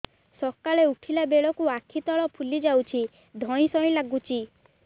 ସକାଳେ ଉଠିଲା ବେଳକୁ ଆଖି ତଳ ଫୁଲି ଯାଉଛି ଧଇଁ ସଇଁ ଲାଗୁଚି